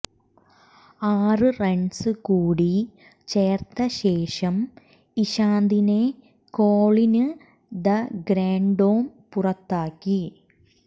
ആറ് റണ്സ് കൂടി ചേര്ത്ത ശേഷം ഇശാന്തിനെ കോളിന് ദെ ഗ്രാന്ഡോം പുറത്താക്കി